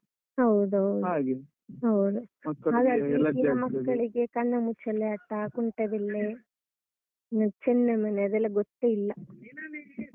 ಹೌದ್ ಹೌದು ಹಾಗಾಗಿ ಮಕ್ಕಳಿಗೆ ಕಣ್ಣಮುಚ್ಚಾಲೆ ಆಟ, ಕುಂಟೆಬಿಲ್ಲೆ ಹ್ಮ ಚೆನ್ನಮಣೆ ಅದೆಲ್ಲ ಗೊತ್ತೆ ಇಲ್ಲ.